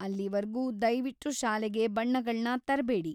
ಅಲ್ಲಿವರ್ಗೂ ದಯ್ವಿಟ್ಟು ಶಾಲೆಗೆ ಬಣ್ಣಗಳ್ನ ತರ್ಬೇಡಿ.